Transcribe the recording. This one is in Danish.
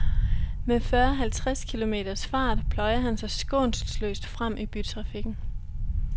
Med fyrre halvtreds kilometers fart pløjer han sig skånselsløst frem i bytrafikken.